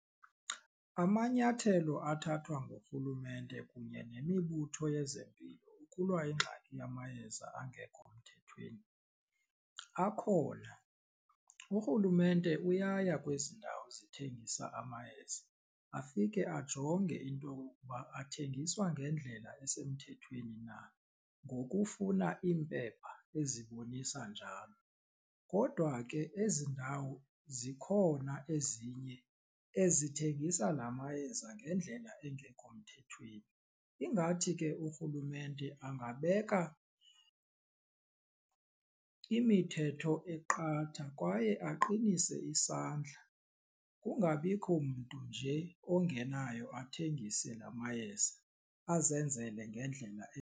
Amanyathelo athathwa ngurhulumente kunye nemibutho yezempilo ukulwa ingxaki yamayeza angekho mthethweni akhona urhulumente uyaya kwezi ndawo zithengisa amayeza afike ajonge into okokuba athengiswa ngendlela esemthethweni na ngokufuna iimpepha ezibonisa njalo. Kodwa ke ezi ndawo zikhona ezinye ezithengisa la mayeza ngendlela engekho mthethweni ingathi ke urhulumente angabeka imithetho eqatha kwaye aqinise isandla kungabikho mntu nje ongenayo athengise la mayeza azenzele ngendlela .